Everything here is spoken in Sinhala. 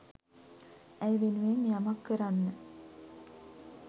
ඇය වෙනුවෙන් යමක් කරන්න